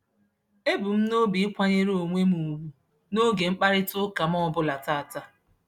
Ebu m n'obi ịkwanyere onwe m ugwu n'oge mkparịtaụka m ọbụla tata.